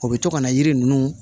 O bɛ to ka na yiri ninnu